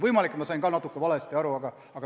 Võimalik, et ma sain natukene valesti aru.